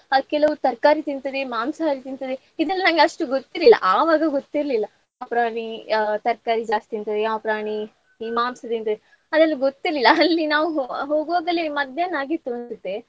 ಅದ್ ಕೆಲವು ತರಕಾರಿ ತಿಂತದೆ, ಮಾಂಸಹಾರಿ ತಿಂತದೆ ಇದೆಲ್ಲ ನಂಗಷ್ಟು ಗೊತ್ತಿರ್ಲಿಲ್ಲ. ಆವಾಗ ಗೊತ್ತಿರ್ಲಿಲ್ಲ ಯಾವ್ ಪ್ರಾಣಿ ಆ ತರಕಾರಿ ಜಾಸ್ತಿ ತಿಂತದೆ ಯಾವ್ ಪ್ರಾಣಿ ಈ ಮಾಂಸ ತಿಂತದೆ ಅದೆಲ್ಲ ಗೊತ್ತಿರ್ಲಿಲ್ಲ ಅಲ್ಲಿ ನಾವು ಹೋಗು ಹೋಗುವಾಗಲೇ ಮದ್ಯಾನ್ಹ ಆಗಿತ್ತು ಅನ್ಸುತ್ತೆ.